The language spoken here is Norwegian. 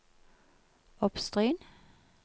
Oppstryn